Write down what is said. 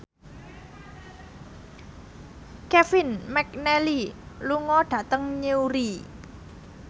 Kevin McNally lunga dhateng Newry